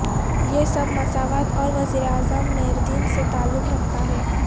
یہ سب مساوات اور وزیراعظم میردین سے تعلق رکھتا ہے